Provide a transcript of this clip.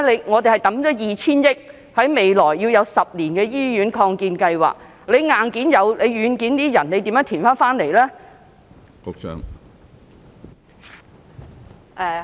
我們已投放 2,000 億元，在未來10年進行醫院擴建計劃，但即使有硬件，屬於軟件的人手如何填補呢？